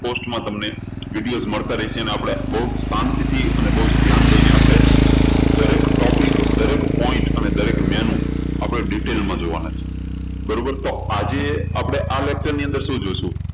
cost માં તમને video મળતા રહેશે. અને આપણે બહુજ શાંતિથી અને બહુજ ધ્યાન દઈને દરેક topic દરેક point અને દરેક menu આપણે detail માં જોવાના છે બરોબર તો આજે આપણે આ lecture ની અંદર શું જોશું